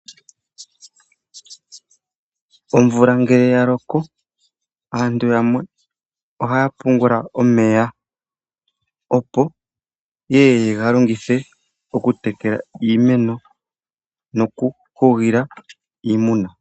Omvula ngele ya loko aantu yamwe ohaya pungula omeya opo yeye yega longithe oku tekela iimeno, noku hugila iimuna.